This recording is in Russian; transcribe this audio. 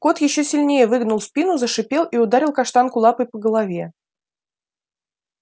кот ещё сильнее выгнул спину зашипел и ударил каштанку лапой по голове